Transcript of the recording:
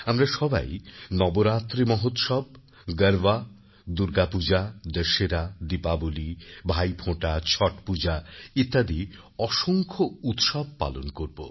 আমরা সবাই নবরাত্রি মহোৎসব গরবা দুর্গাপূজাদশেরা দীপাবলী ভাইফোঁটা ছট পূজা ইত্যাদি অসংখ্য উৎসব পালন করব